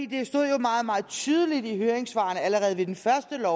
det stod jo meget meget tydeligt i høringssvarene allerede ved det første